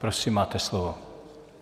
Prosím, máte slovo.